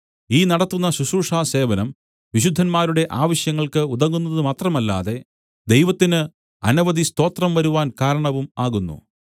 ഈ നടത്തുന്ന ശുശ്രൂഷാസേവനം വിശുദ്ധന്മാരുടെ ആവശ്യങ്ങൾക്ക് ഉതകുന്നതു മാത്രമല്ലാതെ ദൈവത്തിന് അനവധി സ്തോത്രം വരുവാൻ കാരണവും ആകുന്നു